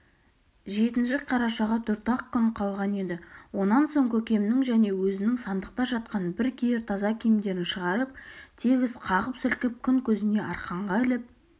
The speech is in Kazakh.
жетінші қарашаға төрт-ақ күн қалған еді онан соң көкемнің және өзінің сандықта жатқан бір киер таза киімдерін шығарып тегіс қағып-сілкіп күн көзіне арқанға іліп